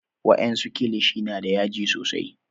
wa en su kilishi na da yaji sosai